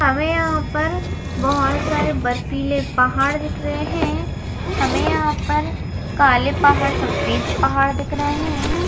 हमें यहाँ पर बहोत सारे बरफीले पहाड़ दिख रहे हैं हमें यहाँ पर काले पहाड़ सफ़ेद पहाड़ दिख रहे हैं।